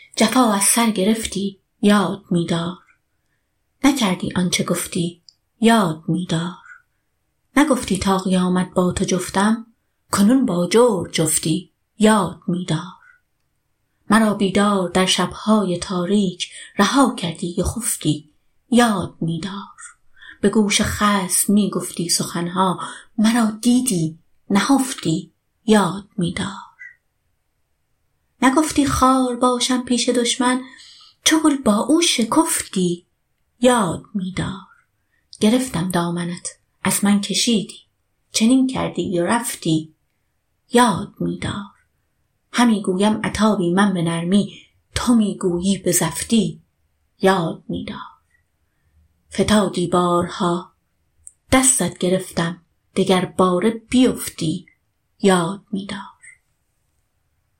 جفا از سر گرفتی یاد می دار نکردی آن چه گفتی یاد می دار نگفتی تا قیامت با تو جفتم کنون با جور جفتی یاد می دار مرا بیدار در شب های تاریک رها کردی و خفتی یاد می دار به گوش خصم می گفتی سخن ها مرا دیدی نهفتی یاد می دار نگفتی خار باشم پیش دشمن چو گل با او شکفتی یاد می دار گرفتم دامنت از من کشیدی چنین کردی و رفتی یاد می دار همی گویم عتابی من به نرمی تو می گویی به زفتی یاد می دار فتادی بارها دستت گرفتم دگرباره بیفتی یاد می دار